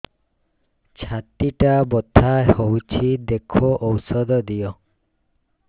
ଛାତି ଟା ବଥା ହଉଚି ଦେଖ ଔଷଧ ଦିଅ